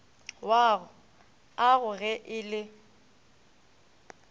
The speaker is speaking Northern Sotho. wag ago ge e le